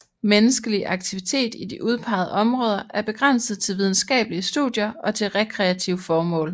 Menneskelig aktivitet i de udpegede områder er begrænset til videnskabelige studier og til rekreative formål